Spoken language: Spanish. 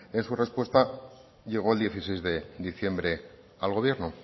en su respuesta llego el dieciséis de diciembre al gobierno